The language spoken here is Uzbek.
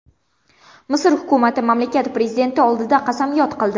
Misr hukumati mamlakat prezidenti oldida qasamyod qildi.